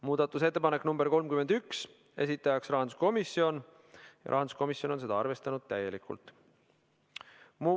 Muudatusettepanek nr 31, esitajaks on rahanduskomisjon ja seda on arvestatud täielikult.